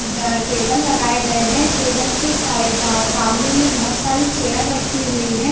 बै table लगाये गये है टेबल के साईं ब सामने में बहुत सारी चेयर रखी हुई हैं ।